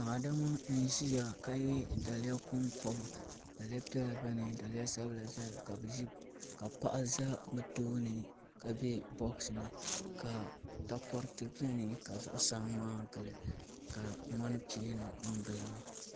daa ma n ʒɛya ka daliya konkoba daliya piɛla bɛni daliya sabila bɛni ka paɣ' bɛ be tuuni ka bɛ boɣisi ni ka takoritɛ bɛni kusamma n gili